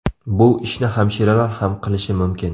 Bu ishni hamshiralar ham qilishi mumkin”.